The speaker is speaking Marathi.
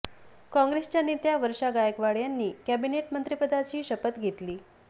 काँग्रेसच्या नेत्या वर्षा गायकवाड यांनी कॅबिनेट मंत्रिपदाची शपथ घेतली